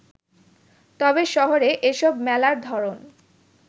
তবে শহুরে এসব মেলার ধরন